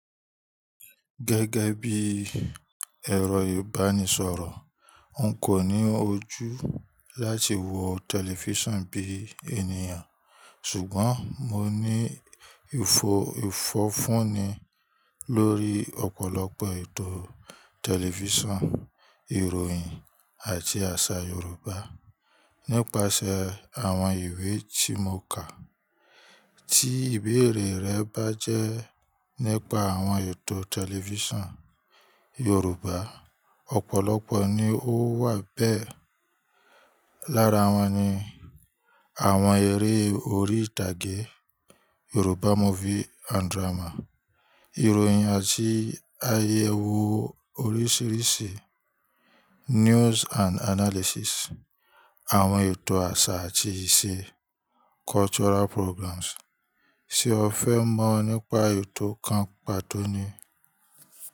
Gẹ́gẹ́ bí ẹ̀rọ ìbánisọ̀rọ̀, n kò ní ojú láti wo tẹlifíṣàn bí ènìyàn, ṣùgbọ́n mo ní ìfọ̀fun ni lórí ọ̀pọ̀lọpọ̀ ètò tẹlifíṣàn, ìròyìn àti àṣà Yorùbá nípasẹ̀ àwọn ìwé tí mo kà. Tí ìbéèrè rẹ bá jẹ́ nípa àwọn ètò tẹlifíṣàn Yorùbá, ọ̀pọ̀lọpọ̀ ni ó wà bẹ́ẹ̀. Lára wọn ni àwọn eré orí ìtàgé, ìròyìn àti àyẹ̀wò oríṣiríṣi, àwọn ètò àṣà àti ìṣe. Sé o fẹ́ mọ̀ nípa ètò kan pàtó ni?